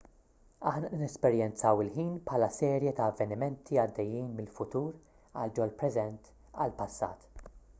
aħna nesperjenzaw il-ħin bħala serje ta' avvenimenti għaddejjin mill-futur għal ġol-preżent għall-passat